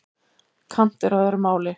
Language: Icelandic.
Kant er á öðru máli.